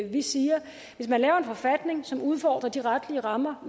vi siger hvis man laver en forfatning som udfordrer de retlige rammer